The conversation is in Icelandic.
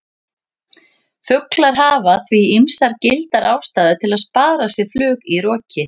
Fuglar hafa því ýmsar gildar ástæður til að spara sér flug í roki!